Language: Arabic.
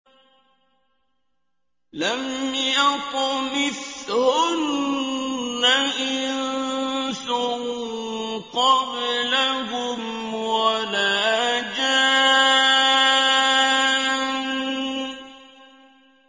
لَمْ يَطْمِثْهُنَّ إِنسٌ قَبْلَهُمْ وَلَا جَانٌّ